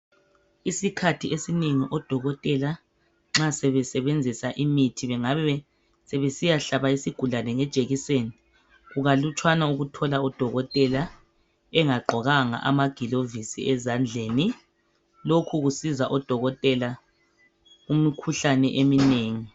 Isikhathi esinengi odokotela nxa sebesebenzisa imithi, bengabe sebesiyahlaba isigulane ngejekiseni, kukalutshwana ukuthola odokotela engagqokanga amagilovisi ezandleni. Lokhu kusiza odokotela kumikhuhlane eminengi.